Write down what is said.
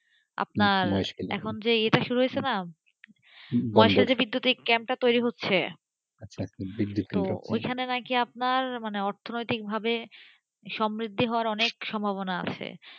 আর এখন এটা শুরু হয়েছে না মহেশখালীতে যে বিদ্যুতিক ক্যাম্পটা তৈরি হচ্ছে তো ওখানে নাকি আপনার অর্থনৈতিকভাবে সমৃদ্ধ হওয়ার অনেক সম্ভাবনা আছে,